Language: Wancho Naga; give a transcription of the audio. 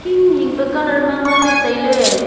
hing hing pa colour ma nganley tailey.